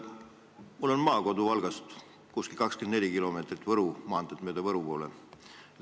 Minu maakodu asub Valgast umbes 24 kilomeetrit Võru maanteed mööda Võru poole.